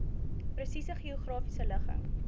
presiese geografiese ligging